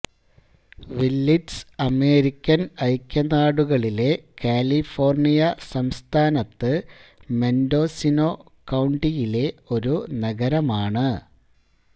Willits American ഐക്യനാടുകളിലെ California സംസ്ഥാനത്ത് Mendocino കൌണ്ടിയിലെ ഒരു നഗരമാണ്